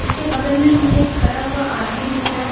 उसके बगल में मुझे खडा हुआ आदमी दिख रहा है --